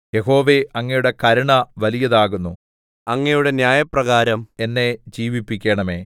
യഹോവേ അങ്ങയുടെ കരുണ വലിയതാകുന്നു അങ്ങയുടെ ന്യായപ്രകാരം എന്നെ ജീവിപ്പിക്കണമേ